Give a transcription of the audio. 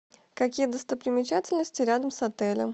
какие достопримечательности рядом с отелем